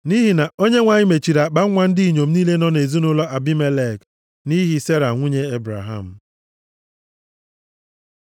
Nʼihi na Onyenwe anyị mechiri akpanwa ndị inyom niile nọ nʼezinaụlọ Abimelek nʼihi Sera nwunye Ebraham.